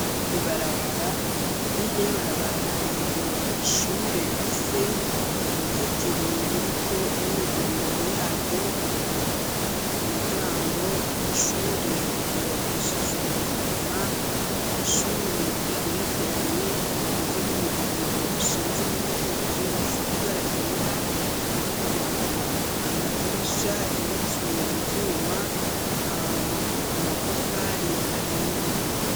Ibarabara hirya y'ibarabara hari ishure rifise uruzitiro ruriko imyidondoro yaryo. Umuryango w'ishure wubakishijwe ivyuma. Ishure igerekeranye rigizwe n'imirongo ishinze n'iyikitse isize ibara ryera. Amadirisha yubatswe mu vyuma, amatafari ahiye.